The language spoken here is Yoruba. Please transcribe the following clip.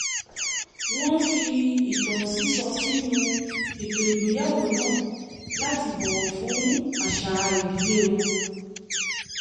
wọ́n fi ìtàn sísọ sínú ètò ìgbéyàwó náà láti bọ̀wọ̀ fún àṣà ìdílé wọn